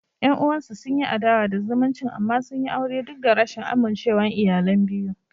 Yan uwansu sun yi adawa da zumuncin amma sun yi aure duk da rashin amincewar iyalan biyu.